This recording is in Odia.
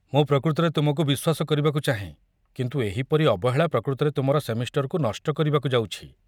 ମୁଁ ପ୍ରକୃତରେ ତୁମକୁ ବିଶ୍ୱାସ କରିବାକୁ ଚାହେଁ, କିନ୍ତୁ ଏହିପରି ଅବହେଳା ପ୍ରକୃତରେ ତୁମର ସେମିଷ୍ଟରକୁ ନଷ୍ଟ କରିବାକୁ ଯାଉଛି।